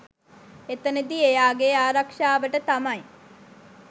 එතනදී එයාගේ ආරක්‍ෂාවට තමයි